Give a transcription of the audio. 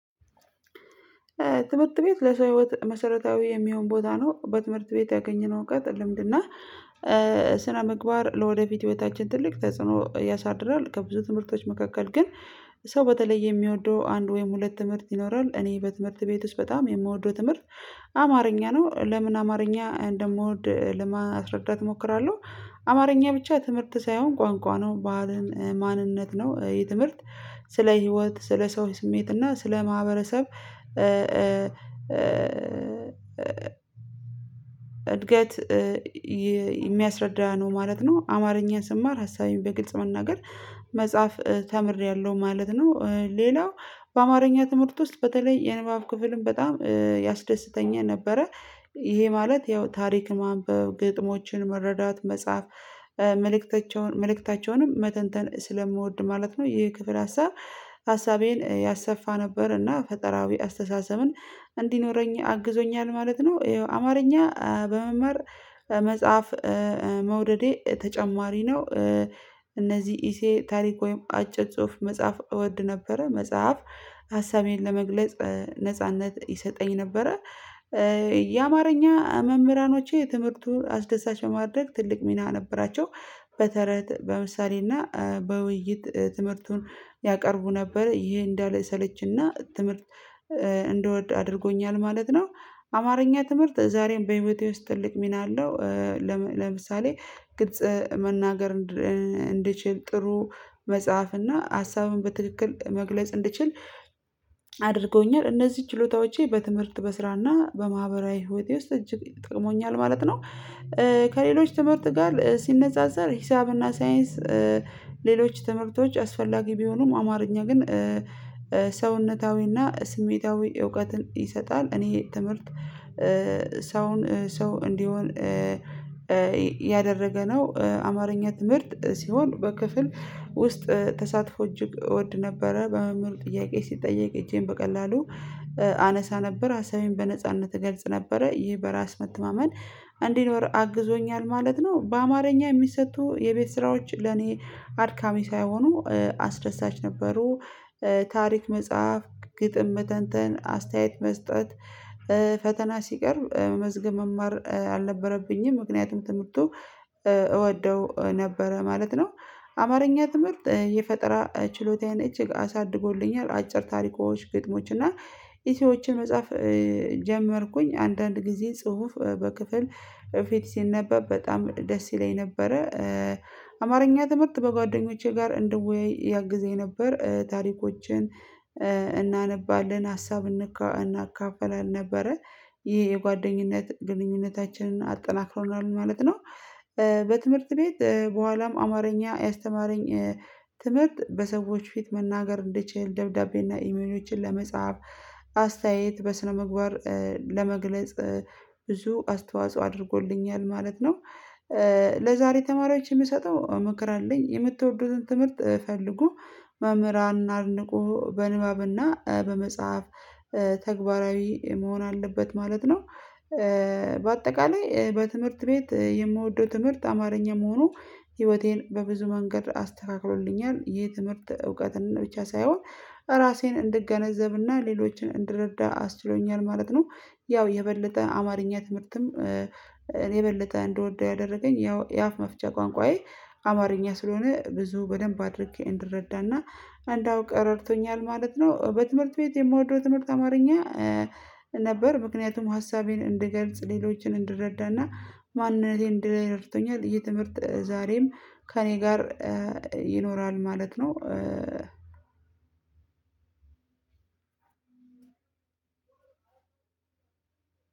ትምህርት ቤት ለሰው መሰረታዊ የሚሆን ቦታ ነው በትምህርት ቤት ያገኘነው እውቀት ልምድና ስነ ምግባር ለወደፊት ህይወታችን ትልቅ ተጽዕኖ ያሳድራል። ከብዙ ትምህርቶች መካከል ግን ሰው በተለይ የሚወደው አንድ ወይም ሁለት ትምህርት ይኖራል። እኔ በትምህርት ቤት ውስጥ በጣም የምወደው ትምህርት አማርኛ ነው ለምን አማርኛ እንደምወድ ለማስረዳት እሞክራለሁ። አማርኛ ብቻ ትምህርት ሳይሆን ቋንቋ ነው ባህልን ማንነት ነው። የትምህርት ስለ ህይወት ስለ ሰው ስሜት እና ስለ ማህበረሰብ እ እድገት የሚያስረዳ ነው ማለት ነው። አማርኛ ስማር ሀሳቤን በግልጽ መናገር መጽሐፍ ተምሬያለሁ ማለት ነው። ሌላው በአማርኛ ትምህርት ውስጥ በተለይ የንባብ ክፍልን በጣም ያስደስተኛ ነበረ። ይሄ ማለት ያው ታሪክ ማንበብ ግጥሞችን መረዳት መጻፍ መልእክታቸውን መልእክታቸውንም መተንተን ስለምወድ ማለት ነው። ይህ ክፍል ሀሳብ ሀሳቤን ያሰፋ ነበር እና ፈጠራዊ አስተሳሰብን እንዲኖረኝ አግዞኛል ማለት ነው። አማርኛ በመማር መጽሐፍ መውደዴ ተጨማሪ ነው። እነዚህ ኢሴ ታሪክ ወይም አጭር ጽሁፍ መጽሐፍ እወድ ነበረ መጽሐፍ ሀሳቤን ለመግለጽ ነጻነት ይሰጠኝ ነበረ። የአማርኛ መምህራኖች የትምህርቱ አስደሳች በማድረግ ትልቅ ሚና ነበራቸው። በተረት በምሳሌ እና በውይይት ትምህርቱን ያቀርቡ ነበረ ይሄ እንዳለ ሰለችና ትምህርት እንደወድ አድርጎኛል ማለት ነው። አማርኛ ትምህርት ዛሬም በህይወቴ ውስጥ ትልቅ ሚና አለው። ለምሳሌ ግጽ መናገር እንድችል ጥሩ መጽሐፍ እና ሀሳቡን በትክክል መግለጽ እንድችል አድርጎኛል እነዚህ ችሎታዎቼ በትምህርት በስራና በማህበራዊ ህይወቴ ውስጥ እጅግ ጠቅሞኛል ማለት ነው። ከሌሎች ትምህርት ጋር ሲነጻጸር ሂሳብና ሳይንስ ሌሎች ትምህርቶች አስፈላጊ ቢሆኑም አማርኛ ግን ሰውነታዊና ስሜታዊ እውቀትን ይሰጣል። እኔ ትምህርት ሰውን ሰው እንዲሆን እያደረገ ነው። አማርኛ ትምህርት ሲሆን በክፍል ውስጥ ተሳትፎ እጅግ እወድ ነበረ በመምህር ጥያቄ ሲጠየቅ እጄን በቀላሉ አነሳ ነበር አሳዬን በነጻነት እገልጽ ነበረ ይህ በራስ መተማመን እንዲኖር አግዞኛል ማለት ነው። በአማርኛ የሚሰጡ የቤት ስራዎች ለኔ አድካሚ ሳይሆኑ አስደሳች ነበሩ። ታሪክ መጽሐፍ ግጥም መተንተን አስተያየት መስጠት ፈተና ሲቀርብ መስገም መማር አልነበረብኝም ምክንያቱም ትምህርቱ እወደው ነበረ ማለት ነው። አማርኛ ትምህርት የፈጠራ ችሎታዬን እጅግ አሳድጎልኛል። አጭር ታሪኮች ግጥሞች እና የሰዎችን መጽሐፍ ጀመርኩኝ አንዳንድ ጊዜ ጽሁፍ በክፍል ፊት ሲነበብ በጣም ደስ ይለኝ ነበረ። አማርኛ ተመርጥ በጓደኞቼ ጋር እንደወያይ ያግዘኝ ነበር ታሪኮችን እናነባለን ሀሳብ እናካፍላለን ነበረ ይሄ የጓደኝነት ግንኙነታችንን አጠናክሮናል ማለት ነው። በትምህርት ቤት በኋላም አማርኛ ያስተማረኝ ትምህርት በሰዎች ፊት መናገር እንድችል ደብዳቤ እና ኢሜሎችን ለመጽሐፍ አስተያየት በስነምግባር ለመግለጽ ብዙ አስተዋጽኦ አድርጎልኛል ማለት ነው። ለዛሬ ተማሪያችን የምሰጠው ምክር አለኝ የምትወደዱትን ትምህርት ፈልጎ መምህራንን አድንቆ በንባብና በመጽሐፍ ተግባራዊ መሆን አለበት ማለት ነው። በአጠቃላይ በትምህርት ቤት የምወደው ትምህርት አማርኛ መሆኑ ህይወቴን በብዙ መንገድ አስተካክሎልኛል የትምህርት እውቀትን ብቻ ሳይሆን ራሴን እንድገነዘብና ሌሎችን እንድረዳ አስችሎኛል ማለት ነው። ያው የበለጠ አማርኛ ትምህርትም እኔ የበለጠ እንድወደው ያደረገኝ ያው የአፍ መፍቻ ቋንቋዬ አማርኛ ስለሆነ ብዙ በደንብ አድርጌ እንድረዳና እንዳውቅ ረድቶኛል ማለት ነው። በትምህርት ቤት የምወደው ትምህርት አማርኛ ነበር ምክንያቱም ሀሳቤን እንድገልጽ ሌሎችን እንድረዳና ማንነቴን እንድለይ ረድቶኛል የትምህርት ዛሬም ከእኔ ጋር ይኖራል ማለት ነው።